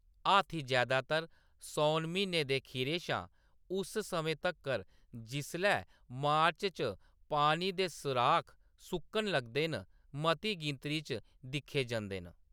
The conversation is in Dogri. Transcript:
हाथी जैदातर सौन म्हीने दे खीरै शा उस समें तक्कर जिसलै मार्च च पानी दे सराख सुक्कन लगदे न, मती गिनतरी च दिक्खे जंदे न।